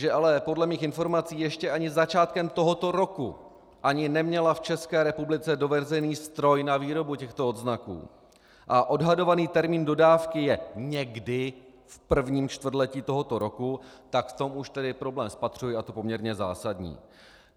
Že ale podle mých informací ještě ani začátkem tohoto roku ani neměla v České republice dovezený stroj na výrobu těchto odznaků a odhadovaný termín dodávky je někdy v prvním čtvrtletí tohoto roku, tak v tom už tedy problém spatřuji, a to poměrně zásadní.